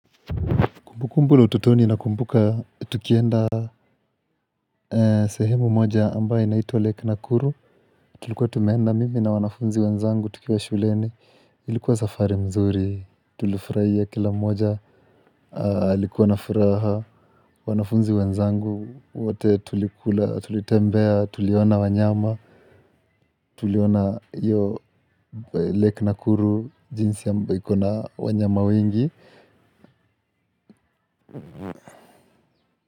Kumbukumbu la utotoni nakumbuka, tukienda sehemu moja ambayo inaitwa Lake Nakuru, tulikuwa tumeenda mimi na wanafunzi wanzangu tukiwa shuleni, ilikuwa safari mzuri, tulifurahia kila moja, likuwa nafuraha, wanafunzi wanzangu, wote tulitembea, tuliona wanyama, tuliona iyo Lake Nakuru, jinsi ambavyo iko na wanyama wengi.